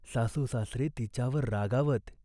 सासूसासरे तिच्यावर रागावत.